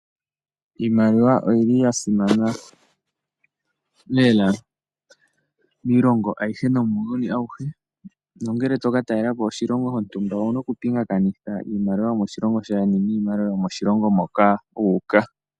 Iimaliwa oya simana lela miiilongo ayihe nomuuyuni awuhe. Nongele toka talela po oshilongo shontumba owu na okupingakanitha iimaliwa yomo shilongo shaayeni niimaliwa yomo shilongo moka wu uka.